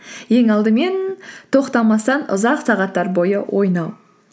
ең алдымен тоқтамастан ұзақ сағаттар бойы ойнау